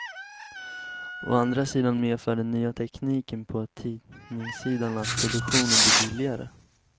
Å andra sidan medför den nya tekniken på tidningssidan att produktionen blir billigare.